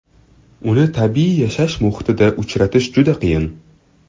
Uni tabiiy yashash muhitida uchratish juda qiyin.